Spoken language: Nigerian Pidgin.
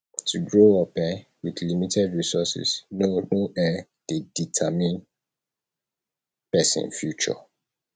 to grow up um with limited resources no no um de determine persin future